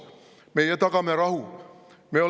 Meie tagame rahu!?